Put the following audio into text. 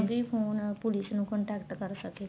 phone police ਨੂੰ contact ਕਰ ਸਕੇ